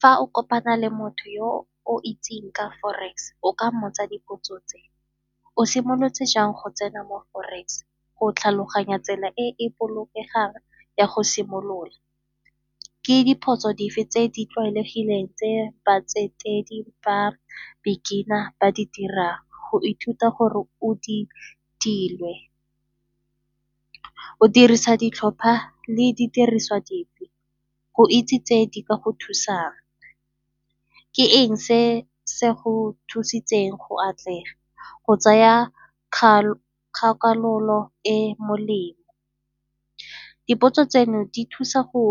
Fa o kopana le motho yo o itseng ka forex o ka mmotsa dipotso tse, o simolotse jang go tsena mo forex go tlhaloganya tsela e e bolokegang ya go simolola, ke dipotso dife tse di tlwaelegileng tse batsetedi ba beginner ba di dirang. Go ithuta gore o di tile o dirisa ditlhopha le di diriswa dipe, go itse tse di ka go thusang ke eng se se go thusitseng go atlega, go tsaya kgakololo e e molemo? Dipotso tseno di thusa go